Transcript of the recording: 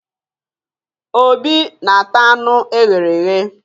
Obi na-ata anụ e ghere eghe